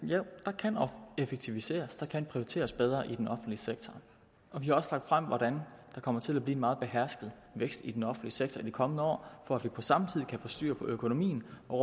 jo der kan effektiviseres og der kan prioriteres bedre i den offentlige sektor og vi har også lagt frem hvordan der kommer til at blive en meget behersket vækst i den offentlige sektor i de kommende år for at vi på samme tid kan få styr på økonomien og